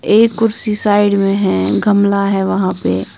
एक कुर्सी साइड में है गमला है वहां पे--